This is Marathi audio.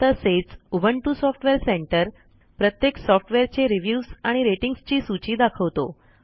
तसेच उबुंटू सॉफ्टवेअर सेंटर प्रत्येक सॉफ्टवेअरचे रिव्ह्यूज आणि रेटिंग्ज ची सूची दाखवतो